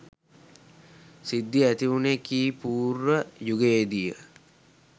සිද්ධිය ඇතිවුනේ ක්‍රි.පූර්ව යුගයේදී ය.